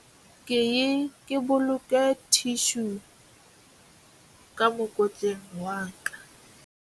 ke ye ke boloke thishu ka mokotleng wa ka